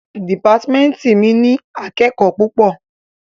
Dìpátímẹ́ntì mi ní akẹ́kòó púpọ̀.